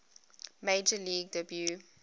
major league debut